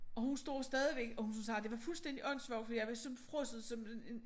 Og hun står stadigvæk og hun sagde det var fuldstændig åndssvagt fordi jeg var som frosset som en en